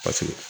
Paseke